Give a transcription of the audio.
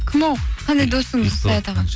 кім ол қандай досыңыз саят аға